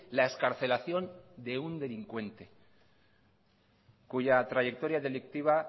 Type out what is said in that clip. la excarcelación de un delincuente cuya trayectoria delictiva